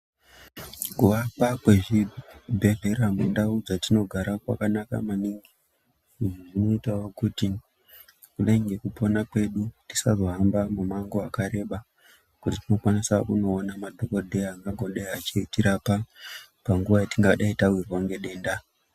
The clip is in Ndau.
Kuvakwa kwezvibhedhlera mundau dzatinogara kwakanaka maningi izvi zvinoitao kuti kudai ngekupona kwedu tisazohamba mimango wakareba kuti tikwanise kunoona madhokodheya akangodei achitirapa panguwa yatingadai tawirwa nedenda.